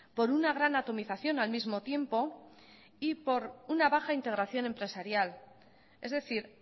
por una gran atomización al mismo tiempo y por una baja integración empresarial es decir